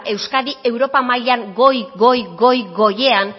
euskadi europa mailan goi goi goi goian